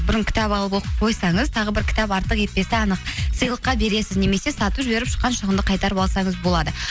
бұрын кітап алып оқып қойсаңыз тағы бір кітап артық етпесі анық сыйлыққа бересіз немесе сатып жіберіп шыққан шығынды қайтарып алсаңыз болады